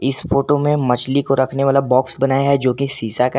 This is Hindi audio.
इस फोटो में मछली को रखने वाला बॉक्स बनाया है जो की शीशा का --